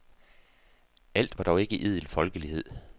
Alt var dog ikke idel folkelighed.